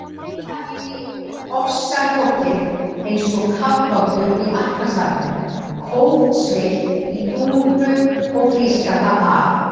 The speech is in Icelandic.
Kafa inn í ofsarokið eins og kafbátur í Atlantshafinu, kófsveitt í dúnúlpu og flísgalla af